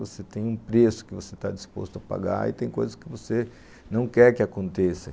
Você tem um preço que você está disposto a pagar e tem coisas que você não quer que aconteçam.